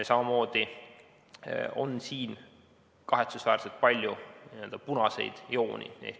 Samamoodi on siin kahetsusväärselt palju n-ö punaseid jooni.